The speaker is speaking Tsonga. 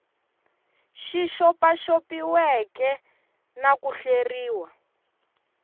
xi xopaxopiweke na ku hleriwa